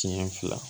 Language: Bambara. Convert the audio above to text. Siɲɛ fila